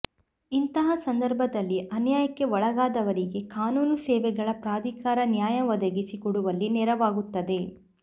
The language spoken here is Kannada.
ಇಂತಹ ಸಂದರ್ಭದಲ್ಲಿ ಅನ್ಯಾಯಕ್ಕೆ ಒಳಗಾದವರಿಗೆ ಕಾನೂನು ಸೇವೆಗಳ ಪ್ರಾಧಿಕಾರ ನ್ಯಾಯ ಒದಗಿಸಿ ಕೊಡುವಲ್ಲಿ ನೆರವಾಗುತ್ತದೆ